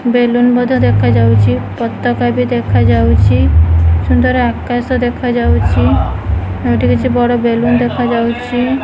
Balloon ମଧ୍ୟ ଦେଖାଯାଉଚି। ପତକା ବି ଦେଖାଯାଉଚି ସୁନ୍ଦର ଆକାଶ ଦେଖାଯାଉଚି। ଆଉ ଏଠି କିଛି ବଡ଼ ବେଲୁନ୍ ଦେଖାଯାଉଛି।